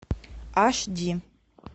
аш ди